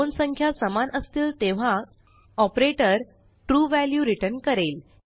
दोन संख्या समान असतील तेव्हा ऑपरेटर ट्रू व्हॅल्यू रिटर्न करेल